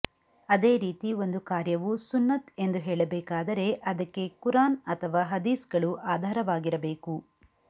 ಅದೇ ರೀತಿ ಒಂದು ಕಾರ್ಯವು ಸುನ್ನತ್ ಎಂದು ಹೇಳಬೇಕಾದರೆ ಅದಕ್ಕೆ ಕುರ್ಆನ್ ಅಥವಾ ಹದೀಸ್ಗಳು ಆಧಾರವಾಗಿರ ಬೇಕು